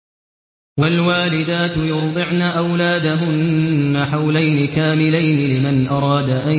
۞ وَالْوَالِدَاتُ يُرْضِعْنَ أَوْلَادَهُنَّ حَوْلَيْنِ كَامِلَيْنِ ۖ لِمَنْ أَرَادَ أَن